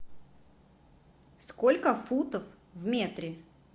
сколько футов в метре